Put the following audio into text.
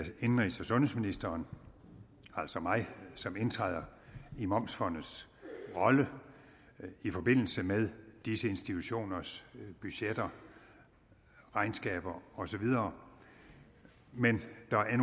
indenrigs og sundhedsministeren altså mig som indtræder i momsfondets rolle i forbindelse med disse institutioners budgetter regnskaber osv men der er